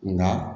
Nka